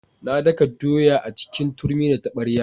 Na daka doya a cikin turmi da taɓarya.